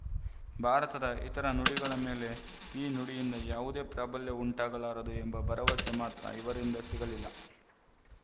ಭಾರತದ ಇತರ ನುಡಿಗಳ ಮೆಲೆ ಈ ನುಡಿಯಿಂದ ಯಾವುದೇ ಪ್ರಾಬಲ್ಯವು ಉಂಟಾಗಲಾರದು ಎಂಬ ಭರವಸೆ ಮಾತ್ರ ಇವರಿಂದ ಸಿಗಲಿಲ್ಲ